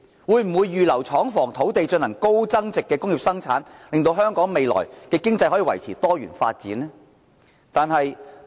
會否預留廠房、土地進行高增值的工業生產，使香港未來的經濟可以維持多元發展呢？